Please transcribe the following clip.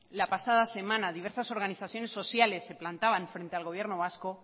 la pasada semana diversas organizaciones sociales se plantaban frente al gobierno vasco